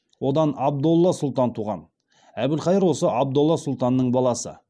одан абдолла сұлтан туған әбілқайыр осы абдолла сұлтанның баласы